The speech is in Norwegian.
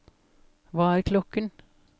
hva er klokken